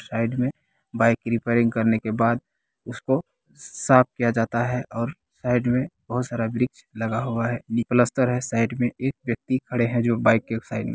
side में bike repairing करने के बाद उसको साफ किया जाता है और साइड में बहुत सारा वृक्ष लगा हुआ है बी पलस्तर है साइड में एक व्यक्ति खड़े हैं जो बाइक के एक साइड में ---